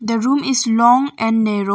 The room is long and narrow